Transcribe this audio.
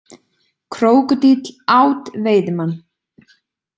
Krókódíll át veiðimann